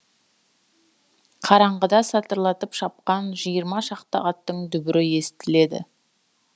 қараңғыда сатырлатып шапқан жиырма шақты аттың дүбірі естіледі